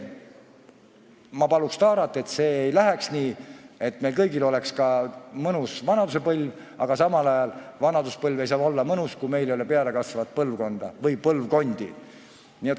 Ma paluks Taarat, et see ei läheks nii ja et meil kõigil oleks ka mõnus vanaduspõlv, aga samal ajal ei saa vanaduspõlv olla mõnus, kui meil ei ole pealekasvavat põlvkonda või põlvkondi.